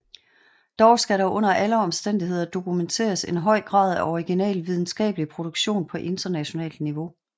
Dog skal der under alle omstændigheder dokumenteres en høj grad af original videnskabelig produktion på internationalt niveau